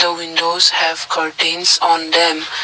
the windows have curtains on them.